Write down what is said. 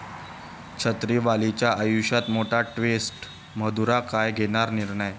छत्रीवालीच्या आयुष्यात मोठा ट्विस्ट, मधुरा काय घेणार निर्णय?